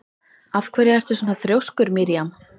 Af hverju ertu svona þrjóskur, Miriam?